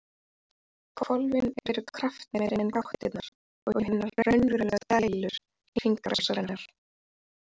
Hvolfin eru kraftmeiri en gáttirnar og hinar raunverulegu dælur hringrásarinnar.